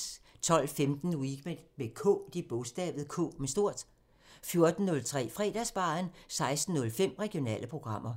12:15: Weekend med K 14:03: Fredagsbaren 16:05: Regionale programmer